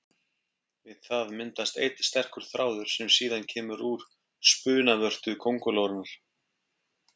Við það myndast einn sterkur þráður sem síðan kemur úr spunavörtu köngulóarinnar.